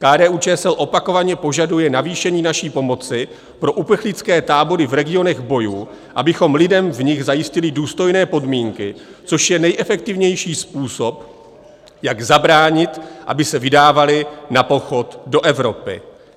KDU-ČSL opakovaně požaduje navýšení naší pomoci pro uprchlické tábory v regionech bojů, abychom lidem v nich zajistili důstojné podmínky, což je nejefektivnější způsob, jak zabránit, aby se vydávali na pochod do Evropy.